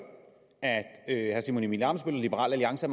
at herre simon emil ammitzbøll og liberal alliance